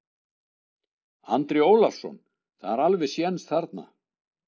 Andri Ólafsson: Það er alveg séns þarna?